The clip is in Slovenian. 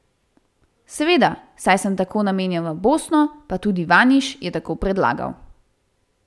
Seveda, saj sem tako namenjen v Bosno, pa tudi Vaniš je tako predlagal.